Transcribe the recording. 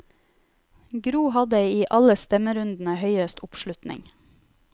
Gro hadde i alle stemmerunder høyest oppslutning.